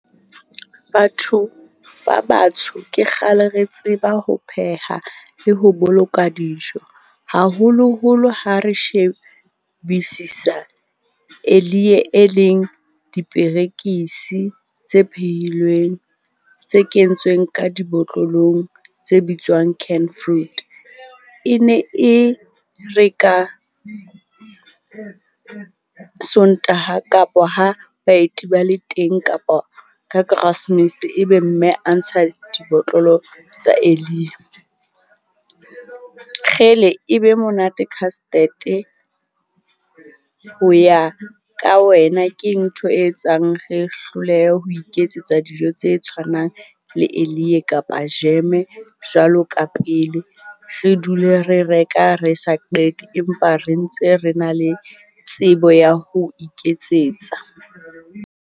Batho ba batsho ke kgale re tseba ho pheha le ho boloka dijo, haholoholo ha re shebisisa e leng diperekisi tse pheilweng tse kentsweng ka dibotlolong tse bitswang canned fruit. E ne e re ka Sontaha kapa ha baeti ba le teng, kapa ka karasemese, ebe mme a ntsha dibotlolo tsa e be monate custard-e. Ho ya ka wena keng ntho e etsang re hlolehe ho iketsetsa dijo tse tshwanang le kapa jeme jwalo ka pele, re dule re reka re sa qete empa re ntse re na le tsebo ya ho iketsetsa?